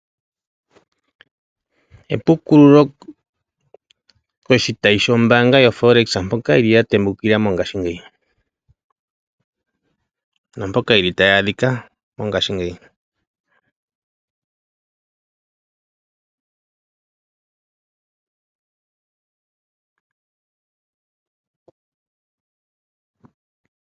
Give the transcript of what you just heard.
Epukululo koshitayi shombaanga yo Folex mpoka yili yatembukila mongaashingeyi naampoka yili tayi adhika mongaashingeyi.